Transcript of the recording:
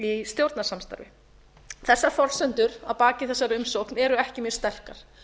í stjórnarsamstarfi þessar forsendur að baki þessari umsókn eru ekki mjög sterkar